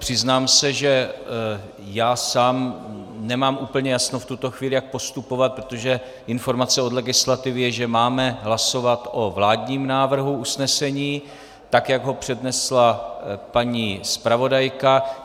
Přiznám se, že já sám nemám úplně jasno v tuto chvíli, jak postupovat, protože informace od legislativy je, že máme hlasovat o vládním návrhu usnesení tak, jak ho přednesla paní zpravodajka.